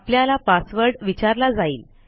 आपल्याला पासवर्ड विचारला जाईल